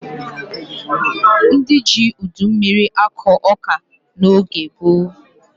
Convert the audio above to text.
Ndị ji udu mmiri akụ ọka n'oge gboo.